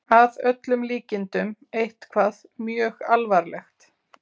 Að öllum líkindum eitthvað mjög alvarlegt.